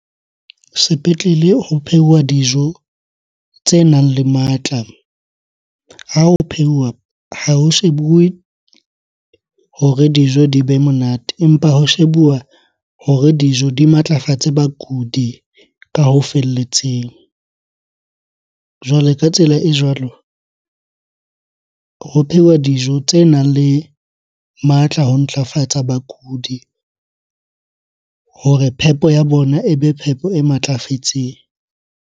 Sepetlele ho pheuwa dijo tsenang le matla. Ha ho pheuwa ha ho shebuwe hore dijo di be monate, empa ho shebuwa hore dijo di matlafatse bakudi ka ho felletseng. Jwale ka tsela e jwalo, ho pheuwa dijo tsenang le matla ho ntlafatsa bakudi hore phepo ya bona ebe phepo e matlafetseng.